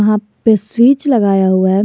यहां पे स्विच लगाया हुआ है।